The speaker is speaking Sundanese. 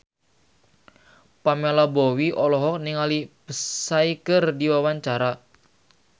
Pamela Bowie olohok ningali Psy keur diwawancara